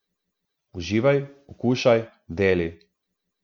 Uživaj, okušaj, deli.